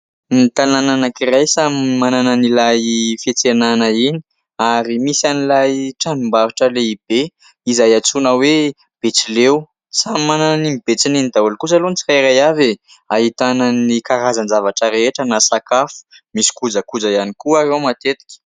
Ny tanàna anankiray samy manana an'ilay fiantsenana iny, ary misy an'ilay tranombarotra lehibe izay atsoina hoe Betsileo. Samy manana an'iny betsiny iny daholy kosa aloha ny tsiraiiray avy, ahitana ny karazana zavatra rehetra na sakafo, misy kojakoja ihany koa ary ao matetika.